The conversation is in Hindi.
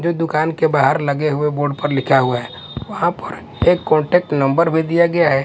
जो एक दुकान के बाहर लगे हुए बोर्ड पर लिखा हुआ है वहां एक कांटेक्ट नंबर भी दिया गया है।